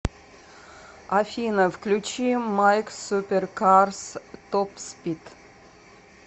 афина включи майк суперкарс топспид